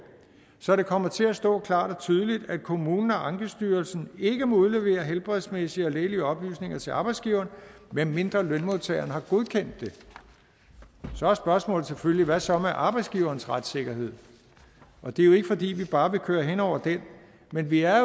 så det kommer til at stå klart og tydeligt at kommunen og ankestyrelsen ikke må udlevere helbredsmæssige og lægelige oplysninger til arbejdsgiveren medmindre lønmodtageren har godkendt det så er spørgsmålet selvfølgelig hvad så med arbejdsgiverens retssikkerhed og det er jo ikke fordi vi bare vil køre hen over den men vi er